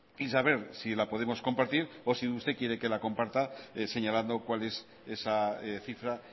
y saber si la podemos compartir o si usted quiere que la comparta señalando cuál es esa cifra